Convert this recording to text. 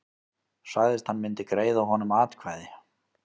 Sagðist hann myndi greiða honum atkvæði